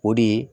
O de ye